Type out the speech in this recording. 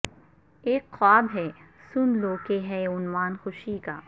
اک خواب ہے سن لو کہ ہے عنوان خوشی کا